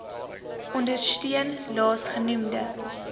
ondersteun laas genoemde